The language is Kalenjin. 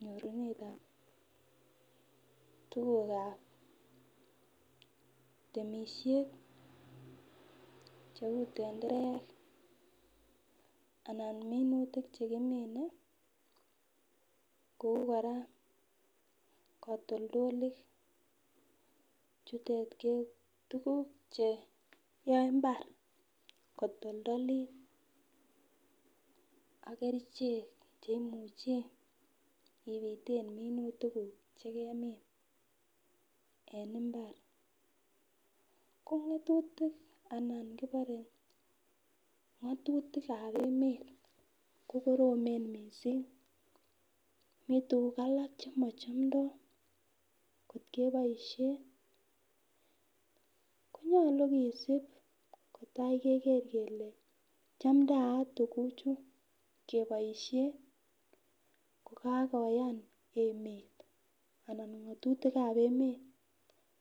nyorunetab tukukab temishet cheuu tenderek anan minutik chekimine kouu kora katoldolik chutet ko tuguk cheyoe imbaar kotoldolit ak kerichek chei, uche ibiteen minutik guuk chegemiin en imbaar, ko ngatutik anan kibore ngotutik ab emet kokoromeen mising, mii ngotutik alak chemochomdoo keboishen kokagoyaan emeet anan ngotutik ab emet